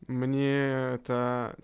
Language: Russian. мне та